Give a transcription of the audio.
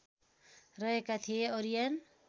रहेका थिए ओरियन